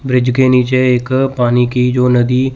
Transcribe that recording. bridge के नीचे एक पानी की जो नदी--